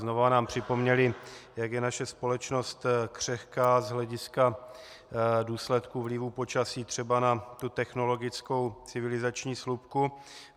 Znovu nám připomněly, jak je naše společnost křehká z hlediska důsledků vlivu počasí třeba na tu technologickou civilizační slupku.